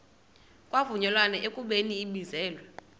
kwavunyelwana ekubeni ibizelwe